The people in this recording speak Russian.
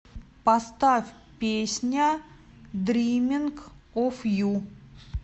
поставь песня дриминг оф ю